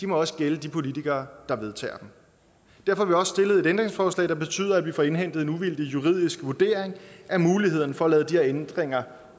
må også gælde de politikere der vedtager dem derfor har stillet et ændringsforslag der betyder at vi får indhentet en uvildig juridisk vurdering af mulighederne for at lade de her ændringer